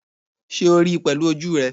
Sé o ríi pèlú ojú rè?